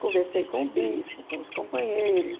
Conversei com o bispo, com os companheiros.